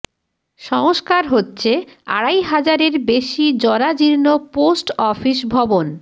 সংস্কার হচ্ছে আড়াই হাজারের বেশি জরাজীর্ণ পোস্ট অফিস ভবন